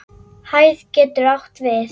Hæð getur átt við